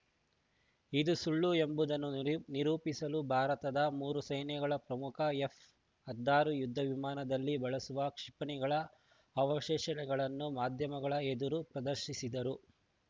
ಇದು ಸುಳ್ಳು ಎಂಬುದನ್ನು ನಿ ನಿರೂಪಿಸಲು ಭಾರತದ ಮೂರೂ ಸೇನೆಗಳ ಪ್ರಮುಖರು ಎಫ್‌ ಹಾದ್ದಾರು ಯುದ್ಧ ವಿಮಾನದಲ್ಲಿ ಬಳಸುವ ಕ್ಷಿಪಣಿಗಳ ಅವಶೇಷಗಳನ್ನು ಮಾಧ್ಯಮಗಳ ಎದುರು ಪ್ರದರ್ಶಿಸಿದ್ದರು